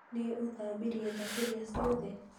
Nĩ ũthambirie thaburia ciothe?